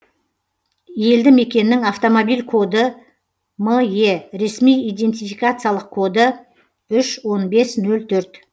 елді мекеннің автомобиль коды ме ресми идентификациялық коды үш он бес нөл төрт